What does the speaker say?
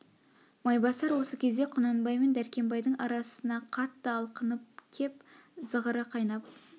майбасар осы кезде құнанбай мен дәркембайдың арасына қатты алқынып кеп зығыры қайнап